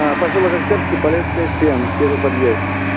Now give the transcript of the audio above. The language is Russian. посёлок октябрьский полесская семь первый подъезд